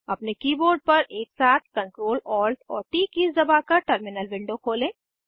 अपने कीबोर्ड पर एकसाथ Ctrl Alt और ट कीज़ दबाकर टर्मिनल विंडो खोलें